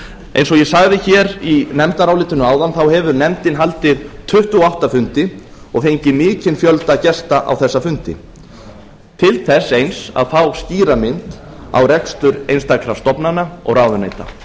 eins og á g sagði hér í nefndarálitinu áðan hefur nefndin haldið tuttugu og átta fundi og fengið mikinn fjölda gesta á þessa fundi til þess eins að fá skýra mynd á rekstur einstakra stofnana og ráðuneyta